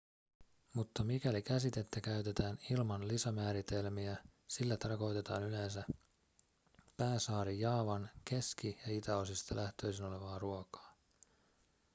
mutta mikäli käsitettä käytetään ilman lisämääritelmiä sillä tarkoitetaan yleensä pääsaari jaavan keski- ja itäosista lähtöisin olevaa ruokaa